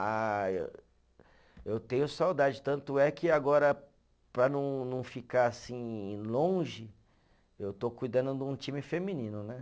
Ah, eu eu tenho saudade, tanto é que agora, para não, não ficar assim longe, eu estou cuidando de um time feminino, né?